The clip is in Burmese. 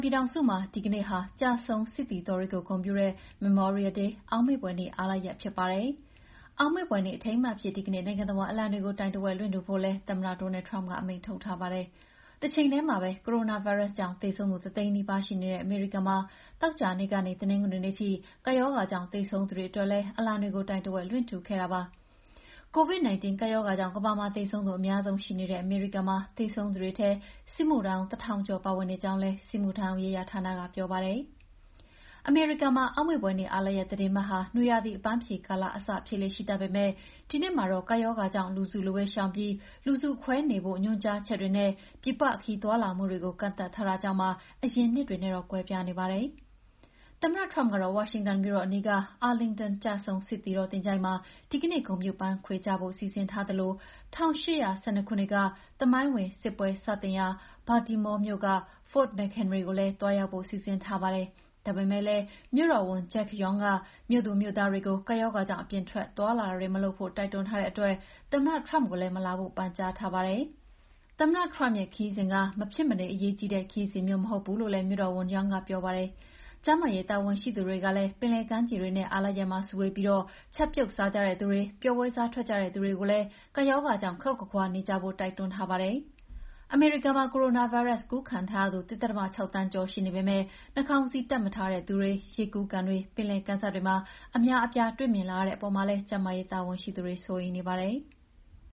ပြည်ထောင်စုမှာ ဒီကနေ့ဟာ ကျဆုံးစစ်သည်တော်တွေကို ဂုဏ်ပြုတဲ့ Memorial Day အောက်မေ့ဖွယ်နေ့ အားလပ်ရက်ဖြစ်ပါတယ်။ အောက်မေ့ဖွယ်နေ့ အထိမ်းအမှတ်အဖြစ် ဒီကနေ့ နိုင်ငံတဝှမ်းမှာ အလံတွေကို တိုင်ဝက်လွှင့်ထူဖို့လည်း သမ္မတ Donald Trump က အမိန့်ထုတ်ထားပါတယ်။ တချိန်တည်းမှာပဲ ကိုရိုနာဗိုင်းရပ်စ်ကြောင့် သေဆုံးသူ တသိန်းနီးပါးရှိနေတဲ့ အမေရိကန်မှာ သောကြာနေ့ကနေ တနင်္ဂနွေနေ့အထိ ကပ်ရောဂါကြောင့် သေဆုံးသူတွေအတွက်လည်း အလံတွေကို တိုင်ဝက်လွှင့်ထူခဲ့တာပါ။ COVID-19 ကပ်ရောဂါကြောင့် ကမ္ဘာမှာ သေဆုံးသူအများဆုံးရှိနေတဲ့ အမေရိကန်မှာ သေဆုံးသူတွေထဲ စစ်မှုထမ်းဟောင်း ၁,၀၀၀ ကျော် ပါဝင်နေကြောင်းလည်း စစ်မှုထမ်းဟောင်ရေးရာဌာနက ပြောပါတယ်။ အမေရိကန်မှာ အောက်မေ့ဖွယ်နေ့ အားလပ်ရက် သီတင်းပတ်ဟာ နွေရာသီ အပမ်းဖြေကာလအစ ဖြစ်လေ့ရှိတတ်ပေမဲ့ ဒီနှစ်မှာတော့ ကပ်ရောဂါကြောင့် လူစုလူဝေးရှောင်ပြီး လူစုခွဲနေဖို့ ညွှန်ကြားချက်တွေနဲ့ ပြည်ပခရီးသွားလာမှုတွေကိုပါ ကန့်သတ်ထားတာကြောင့်ပါ အရင်နှစ်တွေနဲ့ ကွဲပြားနေပါတယ်။ သမ္မတ Trump ကတော့ ဝါရှင်တန်မြို့တော် အနီးက Arlington ကျဆုံးစစ်သည်သချိုၤင်းမှာဒီကနေ့ ဂုဏ်ပြုပန်းခွေချဖို့ စီစဉ်ထားသလို ၁၈၁၂ ခုနှစ် သမိုင်းဝင် စစ်ပွဲစတင်ရာ Baltimore မြို့က Fort McHenry ကိုလည်း သွားရောက်ဖို့ စီစဉ်ထားပါတယ်။ ဒါပေမဲ့ မြို့တော်ဝန် Jack Young က မြို့သူမြို့သားတွေကို ကပ်ရောဂါကြောင့် အပြင်ထွက်သွားလာတာတွေမလုပ်ဖို့ တိုက်တွန်းထားတဲ့အတွက် သမ္မတ Trump ကိုလည်း မလာဖို့ ပန်ကြားထားပါတယ်။ သမ္မတ Trump ရဲ့ခရီးစဉ်က မဖြစ်မနေ အရေးကြီးတဲ့ ခရီးစဉ်မျိုး မဟုတ်ဘူးလို့လည်း မြို့တော်ဝန် Young ကပြောပါတယ်။ ကျန်းမာရေး တာဝန်ရှိသူတွေကလည်း ပင်လယ်ကမ်းခြေတွေနဲ့ အားလပ်ရက်မှာ စုဝေးပြီး ချက်ပြုတ်စားကြတဲ့သူတွေ၊ ပျော်ပွဲစားထွက်ကြတဲ့ လူတွေကိုလည်း ကပ်ရောဂါကြောင့် ခပ်ခွါခွါနေကြဖို့ တိုက်တွန်းထားပါတယ်။ အမေရိကန်မှာ ကိုရိုနာဗိုင်းရပ်စ် ကူးခံထားရသူ ၁.၆ သန်းကျော် ရှိနေပေမဲ့ နှာခေါင်းစည်းတပ်မထားတဲ့ လူတွေ ရေကူးကန်တွေ၊ ပင်လယ်ကမ်းစပ်တွေမှာ အများအပြားတွေ့မြင်လာရတဲ့အပေါ်မှာလည်း ကျန်းမာရေးတာဝန်ရှိသူတွေ စိုးရိမ်နေကြပါတယ်။